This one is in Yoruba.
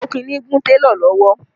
Okinni gún télọ̀ lọ́wọ́